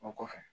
O kɔfɛ